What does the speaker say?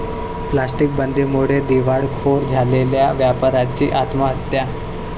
plastic बंदीमुळे दिवाळखोर झालेल्या व्यापाऱ्याची आत्महत्या